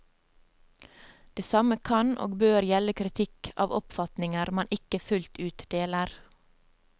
Det samme kan og bør gjelde kritikk av oppfatninger man ikke fullt ut deler.